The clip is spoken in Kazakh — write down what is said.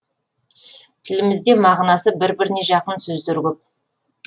тілімізде мағынасы бір біріне жақын сөздер көп